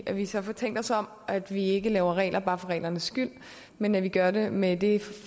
at vi så får tænkt os om at vi ikke laver regler bare for reglernes skyld men at vi gør det med det